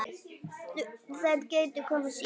Þær gætu komið síðar.